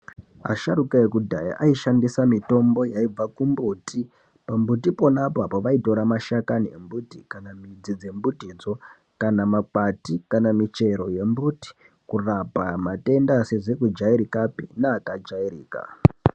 Asharuka ekudhaya aishandisa mitombo yaibva kumbuti pa mbuti pona po vaitora ma shakani e mbuti kana midzi dze mbuti dzo kana makwati kana michero ye mbuti kurapa ma tenda asizi ku jairikapi ne aka jairika.